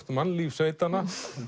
mannlíf sveitanna